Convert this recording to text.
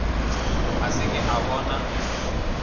a se ke a bona